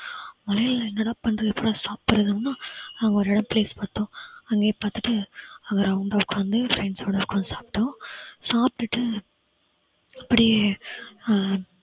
மழையில என்னடா பண்றது எப்படிடா சாப்பிடுறது அப்படின்னா அங்க ஒரு இடம் place பாத்தோம். அங்கேயே பாத்துட்டு அங்க round ஆ உக்காந்து friends ஸோட ஒக்காந்து சாப்பிட்டோம். சாப்டுட்டு அப்படியே அஹ்